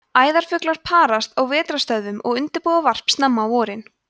æðarfuglar parast á vetrarstöðvum og undirbúa varp snemma á vorin